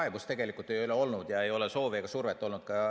Kaebust tegelikult ei ole olnud.